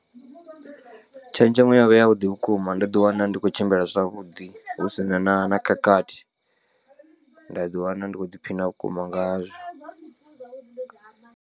Tshenzhemo yovha ya vhuḓi vhukuma ndo ḓiwana ndi khou tshimbila zwavhuḓi hu si na na na khakhathi nda ḓiwana ndi kho ḓiphiṋa vhukuma nga zwo.